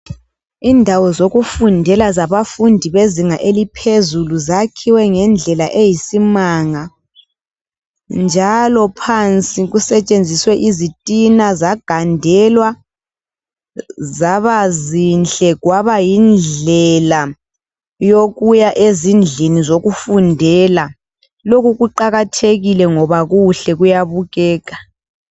Indawo zokufundela zabafundi abezinga eliphezulu zakhiwe ngendlela eyisimanga. Njalo phansi kusetshenziswe izitina zagandelwa zabazinhle kwabayindlela yokuya ezindlini zokufundela. Lokhu kuqakathekile ngoba kuhle kuyabukeka.